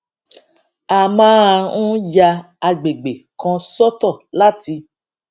a máa ń ya agbègbè kan sọtọ láti